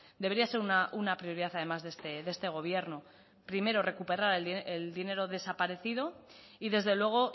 debería ser una prioridad además de este gobierno primero recuperar el dinero desaparecido y desde luego